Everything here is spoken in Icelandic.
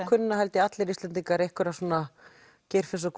kunna held ég allir Íslendingar einhverja Geirfinns og